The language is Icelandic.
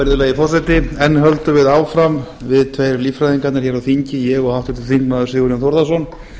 virðulegi forseti enn höldum við áfram við tveir líffræðingarnir hér á þingi ég og háttvirtur þingmaður sigurjón þórðarson